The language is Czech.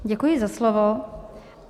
Děkuji za slovo.